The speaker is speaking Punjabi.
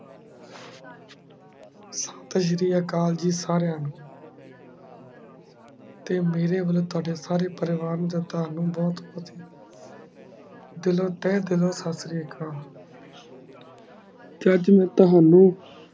ਸਾਸ੍ਰੀਯਾਕੈੱਲ ਜੀ ਸਰਯ ਨੂ ਤੇ ਮੇਰੇ ਵਲੋਂ ਤੁਆਡੇ ਸਾਰੇ ਪਰਿਵਾਰ ਨੂ ਤੇ ਤ੍ਵਾਨੁ ਬੋਹਤ ਬੋਹ੍ਤੀ ਦਿਲੋਂ ਤੇ ਦਿਲੋਂ ਸਸ੍ਰਿਯਾ ਕਾਲ ਚਾਚੋ ਤ੍ਵਾਨੁ